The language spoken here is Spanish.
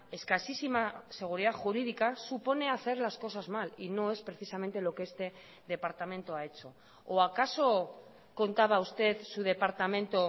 escasísima seguridad jurídica supone hacer las cosas mal y no es precisamente lo que este departamento ha hecho o acaso contaba usted su departamento